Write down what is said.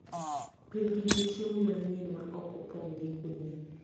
Pidhgi gi chiemo manyien ma ok opong ' gi kudni